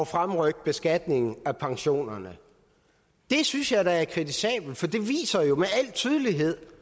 fremrykke beskatningen af pensionerne det synes jeg da er kritisabelt for det viser jo med al tydelighed